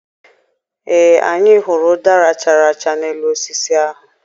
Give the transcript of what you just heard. Ee, anyị hụrụ ụdara chara acha n'elu osisi ahụ.